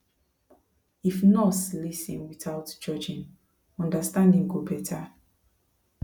if nurse lis ten without judging understanding go better